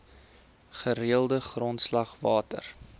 gereelde grondslag water